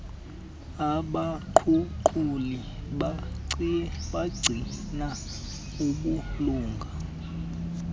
abaguquli bagcina ubulunga